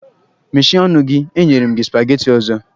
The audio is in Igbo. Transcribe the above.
Meshie ọnụ gị! e nyere m gị supageti ọzọ!